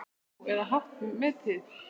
Nú, eða hátt metin.